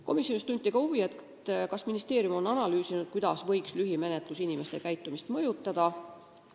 Komisjonis tunti huvi, kas ministeerium on analüüsinud, kuidas võiks lühimenetlus inimeste käitumist mõjutada.